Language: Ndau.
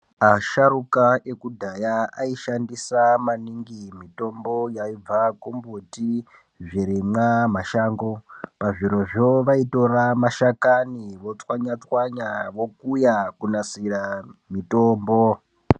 Asharuka ekudhaya aishandisa maningi yaibva kumbuti zvirimwa mashango pazvirozvo vaitora mashakani votswanya tswanya vokuya kunasire mutombo.